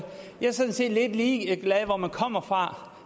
jeg sådan set er lidt ligeglad med hvor man kommer fra